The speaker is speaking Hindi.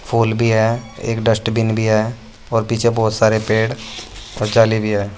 फूल भी है एक डस्टबिन भी है और पीछे बहुत सारे पेड़ और जाली भी है।